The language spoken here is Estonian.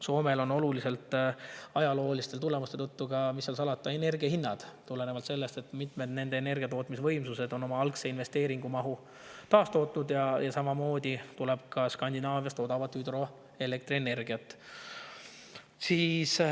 Soomes on ajalooliste tõttu ka, mis seal salata, oluliselt energia hinnad – tulenevalt sellest, et mitmed nende energiatootmisvõimsused on oma algse investeeringu mahu – ja samamoodi tuleb Skandinaaviast odavat hüdroelektrienergiat.